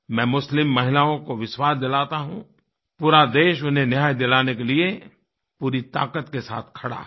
मैं मुस्लिम महिलाओं को विश्वास दिलाता हूँ कि पूरा देश उन्हें न्याय दिलाने के लिए पूरी ताक़त से साथ खड़ा है